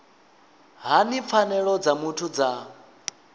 hani pfanelo dza muthu dza